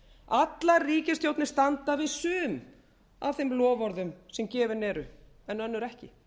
allar ríkisstjórnir standa við sum af þeim loforðum sem gefin eru en önnur ekki